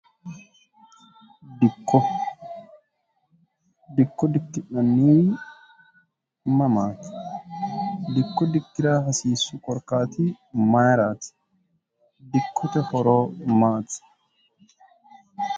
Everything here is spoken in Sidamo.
dikodikko dikki'nnni mamaati dikko dikki'ra hasiissu korkaati mayiraati dikkute foroo maati